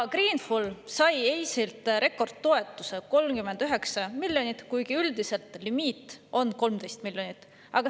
Greenful sai EIS‑ilt rekordtoetuse, 39 miljonit eurot, kuigi üldiselt on limiit 13 miljonit eurot.